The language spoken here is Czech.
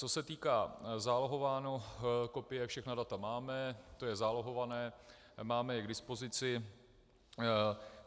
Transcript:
Co se týká, zálohování, kopie, všechna data máme, to je zálohované, máme je k dispozici.